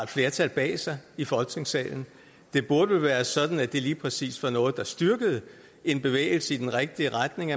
flertal bag sig i folketingssalen det burde vel være sådan at det lige præcis var noget der styrkede en bevægelse i den rigtige retning